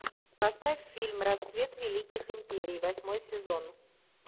поставь фильм рассвет великих империй восьмой сезон